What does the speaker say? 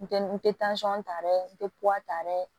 N tɛ n tɛ ta dɛ n tɛ ta dɛ